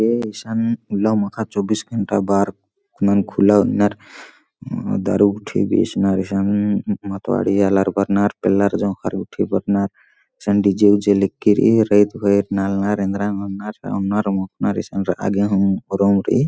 ए ईसन उल्ला माखा चौबीस घंटा बार खुलम खुल्ला नन्नर दारू गुट्ठी बेचनर इसन मतवाड़ी आलर बरनर पेल्लरजोखर गुट्टी बरनर ईसन डीजे - ऊजे लेग्गी रइई रईत भईर नालनर एंदरा नन्नर ओंनर मोखनर ईसन रआ गे हूं रूम रइई।